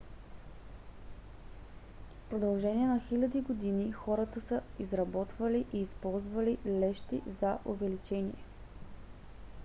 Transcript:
в продължение на хиляди години хората са изработвали и използвали лещи за увеличение